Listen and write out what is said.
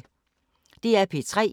DR P3